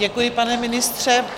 Děkuji, pane ministře.